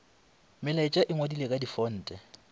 melaetša e ngwadilwe ka difonte